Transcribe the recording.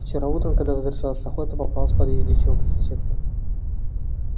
вчера утром когда возвращался с охоты попалась в подъезде девчонка-соседка